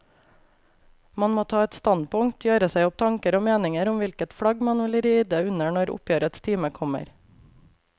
Man må ta et standpunkt, gjøre seg opp tanker og meninger om hvilket flagg man vil ride under når oppgjørets time kommer.